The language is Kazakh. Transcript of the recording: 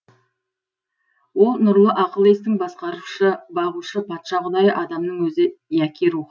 ол нұрлы ақыл естің басқарушы бағушы патша құдайы адамның өзі яки рух